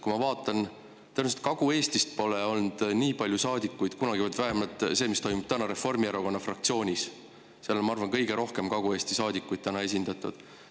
Ma vaatan, et tõenäoliselt pole Kagu-Eestist kunagi olnud nii palju saadikuid, või vähemalt Reformierakonna fraktsioonis – seal on, ma arvan, täna kõige rohkem Kagu-Eesti saadikuid esindatud.